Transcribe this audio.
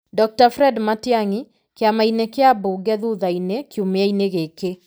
Dr Fred Matiang'i, Kĩama-inĩ kĩa mbunge thutha-inĩ kiumia-inĩ gĩkĩ.